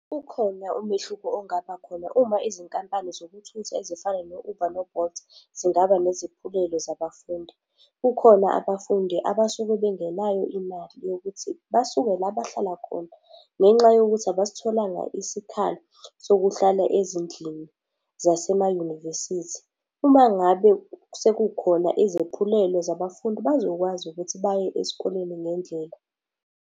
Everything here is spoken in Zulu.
Ukhona umehluko ongaba khona uma izinkampani zokuthutha ezifana no-Uber no-Bolt zingaba neziphulelo zabafundi. Kukhona abafundi abasuke bengenayo imali yokuthi basuke la bahlala khona, ngenxa yokuthi abasitholanga isikhala sokuhlala ezindlini zase mayunivesithi. Uma ngabe sekukhona izephulelo zabafundi bazokwazi ukuthi baye esikoleni ngendlela.